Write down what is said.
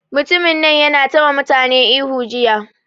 Mutumin nan yana ta ma mutane ihu jiya